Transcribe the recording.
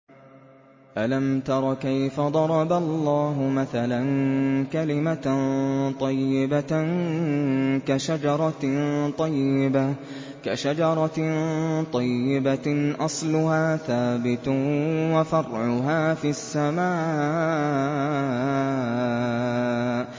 أَلَمْ تَرَ كَيْفَ ضَرَبَ اللَّهُ مَثَلًا كَلِمَةً طَيِّبَةً كَشَجَرَةٍ طَيِّبَةٍ أَصْلُهَا ثَابِتٌ وَفَرْعُهَا فِي السَّمَاءِ